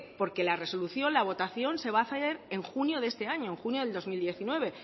porque la resolución la votación se va a hacer en junio de este año en junio de dos mil diecinueve